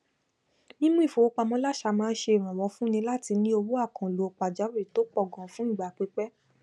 mímú ífowó pamọ làṣà má n se ìrànwọ fúnní látí ní owó àkànlò pàjáwìrì tó pọ ganan fún ìgbà pípẹ